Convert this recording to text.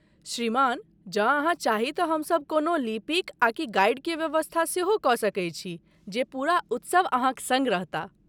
श्रीमान, जँ अहाँ चाही तऽ हमसभ कोनो लिपिक आकि गाइड के व्यवस्था सेहो कऽ सकैत छी जे पूरा उत्सव अहाँक सङ्ग रहताह।